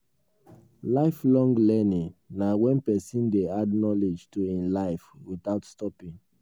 lifelong learning na when person dey add knowledge to im life without stopping